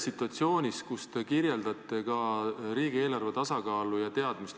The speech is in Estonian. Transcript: Te kirjeldasite riigieelarve tasakaalu ja seda teadmist.